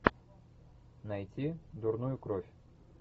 найти дурную кровь